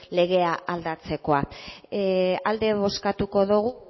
legea aldatzekoa alde bozkatuko dogu